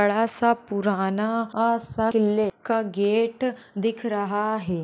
बड़ा सा पुराना सा किल्ले का गेट दिख रहा है।